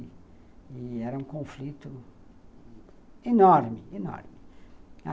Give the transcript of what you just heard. E era um conflito enorme, enorme.